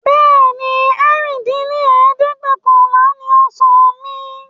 Bẹ́ẹ̀ni, ẹ̀rin dín ní ẹ̀ẹ́dẹ́gbẹ́ọ̀kànlá ni ọ̀sán mi